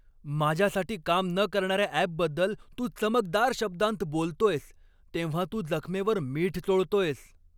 माझ्यासाठी काम न करणार्या ॲपबद्दल तू चमकदार शब्दांत बोलतोयस तेव्हा तू जखमेवर मीठ चोळतोयस.